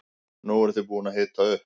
Nú eruð þið búin að hita upp.